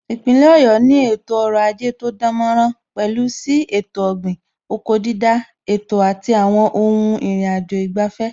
Ipinle Ọ̀yọ́ ni ètò ọrọ̀ ajé tó dánmọ́nrán, pẹ̀lú sí ètò ọ̀gbìn/oko dídá, ètò àti àwọn ohun ìrìnàjò ìgbafẹ́